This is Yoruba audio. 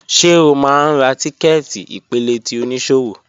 Ṣe o máa ń ra tíkẹ́ẹ̀tì ìpele ti oníṣòwò?